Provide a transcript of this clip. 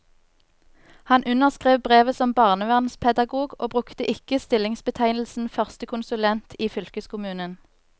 Han underskrev brevet som barnevernspedagog og brukte ikke stillingsbetegnelsen førstekonsulent i fylkeskommunen.